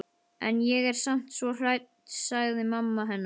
En ég er samt svo hrædd sagði mamma hennar.